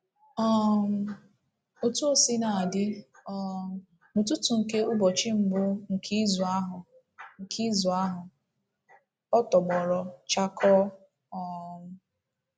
um Otú o sina dị, um n’ụtụtụ nke ụbọchị mbụ nke izu ahụ nke izu ahụ, ọ tọgbọrọ chakoo. um